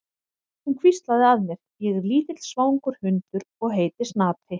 Hún hvíslaði að mér: Ég er lítill svangur hundur og heiti Snati.